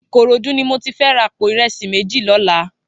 Ikorodu ni mó ti fè rà àpó irẹsi méji lòlá